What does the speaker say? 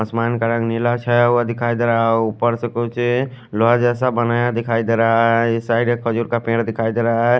आसमान का रंग नीला छाया हुआ दिखाई देरा है और उपर से कुछ लॉज जेसा बना हुआ दिखाई देरा है साइड एक खजूर का पेड दिखाई देरा है।